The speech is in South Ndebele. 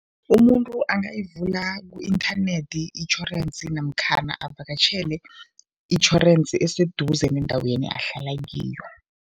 Umuntu angayivula ku-inthanethi itjhorensi namkhana avakatjhele itjhorensi eseduze nendaweni ahlala kiyo.